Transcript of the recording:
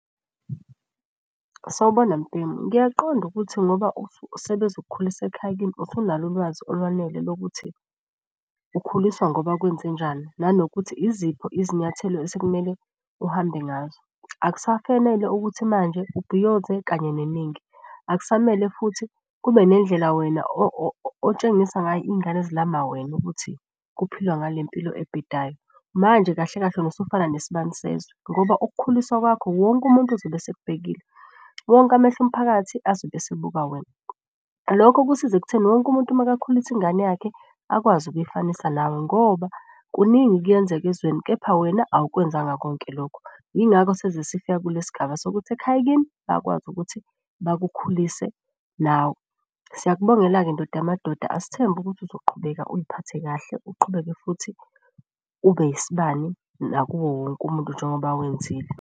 Sawubona mbhemu ngiyaqonda ukuthi ngoba sebezokukhulisa ekhaya kini usunalo ulwazi olwanele lokuthi ukhuliswa ngoba kwenzenjani, nanokuthi iziphi izinyathelo osekumele uhambe ngazo. Akusafanele ukuthi manje ubhiyoze kanye neningi, akusamele futhi ube nendlela wena otshengisa ngayo iy'ngane ezilama wena ukuthi kuphilwa ngale mpilo ebhedayo. Manje kahle kahle usufana nesibani sezwe, ngoba ukukhuliswa kwakho wonke umuntu uzobe esekubhekile. Wonke amehlo omphakathi azobe esibuka wena. Lokho kusiza ekutheni wonke umuntu makakhulisa ingane yakhe akwazi ukuyifanisa nawe ngoba kuningi kuyenzeka ezweni kepha wena awukwenzanga konke lokho. Yingakho sizesifika kule sigaba sokuthi ekhaya kini bayakwazi ukuthi bakukhulise nawe. Siyakubongela-ke ndoda yamadoda asithembe ukuthi uzoqhubeka uy'phathe kahle, uqhubeke futhi ube isibani nakuwo wonke umuntu njengoba wenzile.